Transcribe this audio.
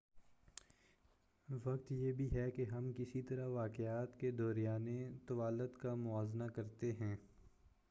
وقت یہ بھی ہے کہ ہم کس طرح واقعات کے دورانیے طوالت کا موازنہ کرتے ہیں۔